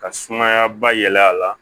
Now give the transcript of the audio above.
Ka sumaya ba yɛlɛ a la